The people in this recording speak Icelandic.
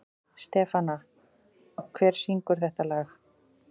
Stefana, hver syngur þetta lag?